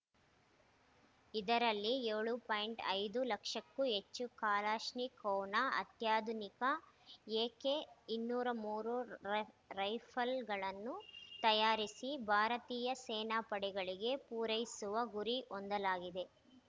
ಇದರಲ್ಲಿ ಏಳು ಪಾಯಿಂಟ್ ಐದು ಲಕ್ಷಕ್ಕೂ ಹೆಚ್ಚು ಕಲಾಶ್ನಿಕೋವ್‌ನ ಅತ್ಯಾಧುನಿಕ ಎಕೆ ಇನ್ನೂರ ಮೂರು ರ ರೈ ರೈಫಲ್‌ಗಳನ್ನು ತಯಾರಿಸಿ ಭಾರತೀಯ ಸೇನಾಪಡೆಗಳಿಗೆ ಪೂರೈಸುವ ಗುರಿ ಹೊಂದಲಾಗಿದೆ